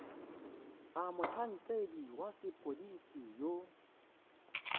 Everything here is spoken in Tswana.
a motlhankedi wa sepodisi yo